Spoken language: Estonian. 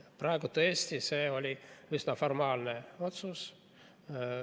Praegu see oli tõesti üsna formaalne otsus.